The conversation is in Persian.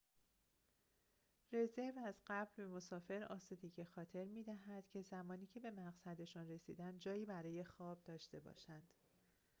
رزرو از قبل به مسافر آسودگی خاطر می‌دهد که زمانی که به مقصدشان رسیدند جایی برای خواب داشته باشند